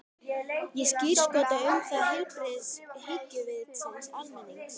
Ég skírskota um það til heilbrigðs hyggjuvits almennings.